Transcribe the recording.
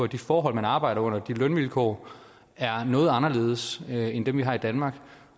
de forhold man arbejder under de lønvilkår er noget anderledes end dem vi har i danmark